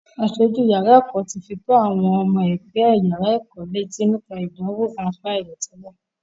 Aṣojú yàrá ẹ̀kọ́ ti fi tó àwọn ọmọ ẹgbẹ́ yàrá ẹ̀kọ́ létí nípa ìdánwò ráńpẹ́ aláìròtẹ́lẹ́.